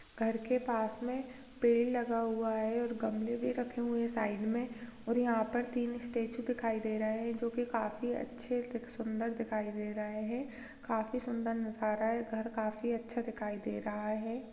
घर के पास में पेड़ लगा हुआ है और गमले भी रखे हुए हैं साइड में और यहाँ पर तीन स्टैचू दिखाई दे रहे हैं जो कि काफी अच्छे सुंदर दिखाई दे रहे हैं काफी सुंदर नजारा है घर काफी अच्छा दिखाई दे रहा है।